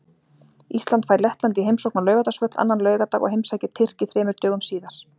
Ísland fær Lettland í heimsókn á Laugardalsvöll annan laugardag og heimsækir Tyrki þremur dögum síðar.